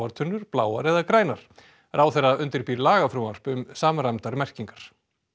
tunnur bláar eða grænar ráðherra undirbýr lagafrumvarp um samræmdar merkingar